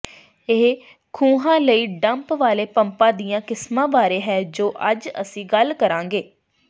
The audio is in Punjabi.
ਇਹ ਖੂਹਾਂ ਲਈ ਡੰਪ ਵਾਲੇ ਪੰਪਾਂ ਦੀਆਂ ਕਿਸਮਾਂ ਬਾਰੇ ਹੈ ਜੋ ਅੱਜ ਅਸੀਂ ਗੱਲ ਕਰਾਂਗੇ